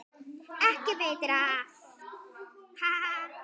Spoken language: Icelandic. Ekki veitir af, ha ha!